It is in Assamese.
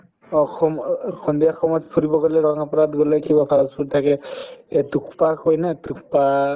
অ, সম অ এই সন্ধিয়া সময়ত ফুৰিব গলে গলে কিবা fast food থাকে এই থুপ্পা কই নে থুপ্পা